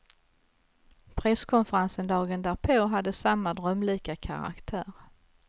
Presskonferensen dagen därpå hade samma drömlika karaktär.